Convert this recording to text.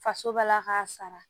Faso ba la k'a sara